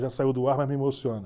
Já saiu do ar, mas me emociona.